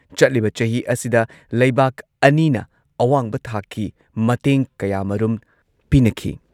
Joint region document ꯂꯤꯁꯤꯡ ꯑꯅꯤ ꯀꯨꯟꯃꯥꯊꯣꯏ ꯀꯨꯟꯍꯨꯝꯗꯣꯏꯒꯤ ꯑꯦꯛꯁꯟ ꯄ꯭ꯂꯥꯟꯁꯨ ꯆꯠꯅꯍꯜꯂꯒꯅꯤ꯫